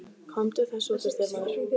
Komdu þessu út úr þér, maður!